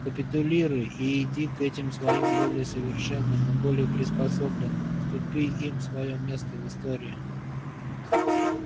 капитулируй и иди к этим своим более совершенным и более приспособленным уступи им своё место в истории